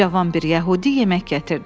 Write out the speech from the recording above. Cavan bir yəhudi yemək gətirdi.